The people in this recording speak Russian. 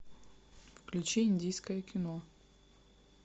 включи индийское кино